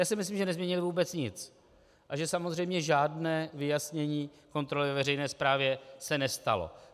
Já si myslím, že nezměnili vůbec nic a že samozřejmě žádné vyjasnění kontroly ve veřejné správě se nestalo.